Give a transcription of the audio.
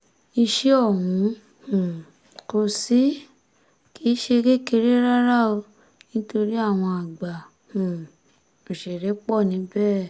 iṣẹ́ ọ̀hún um kò sí kì í ṣe kékeré rárá o nítorí àwọn àgbà um òṣèré pọ̀ níbẹ̀